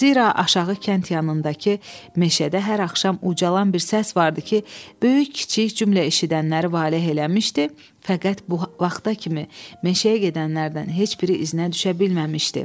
Zira aşağı kənd yanındakı meşədə hər axşam ucalan bir səs vardı ki, böyük-kiçik cümlə eşidənləri vale eləmişdi, fəqət bu vaxta kimi meşəyə gedənlərdən heç biri iznə düşə bilməmişdi.